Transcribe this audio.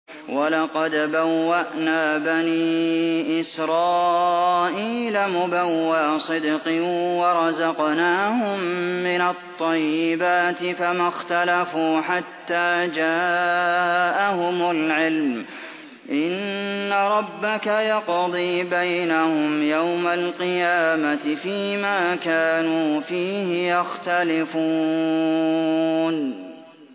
وَلَقَدْ بَوَّأْنَا بَنِي إِسْرَائِيلَ مُبَوَّأَ صِدْقٍ وَرَزَقْنَاهُم مِّنَ الطَّيِّبَاتِ فَمَا اخْتَلَفُوا حَتَّىٰ جَاءَهُمُ الْعِلْمُ ۚ إِنَّ رَبَّكَ يَقْضِي بَيْنَهُمْ يَوْمَ الْقِيَامَةِ فِيمَا كَانُوا فِيهِ يَخْتَلِفُونَ